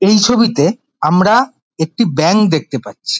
এই ছবিতে আমরা একটি ব্যাঙ দেখতে পাচ্ছি।